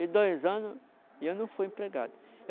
e dois anos e eu não fui empregado.